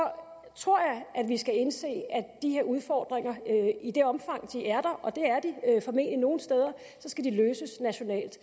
tror jeg vi skal indse at de her udfordringer i det omfang de er og det er de formentlig nogle steder skal løses nationalt